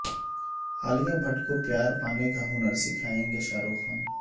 عالیہ بھٹ کو پیار پانے کا ہنر سکھائیں گے شاہ رخ